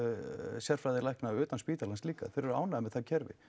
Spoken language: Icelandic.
sérfræðilækna utan spítalans líka þeir eru ánægðir með það kerfi